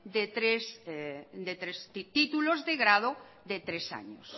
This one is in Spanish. de tres títulos de grado de tres años